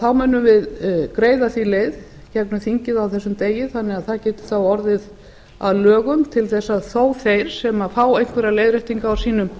þá munum við greiða því leið gegnum þingið á þessum degi þannig að það geti þá orðið að lögum til þess að þó þeir sem fá einhverja leiðréttingu á sínum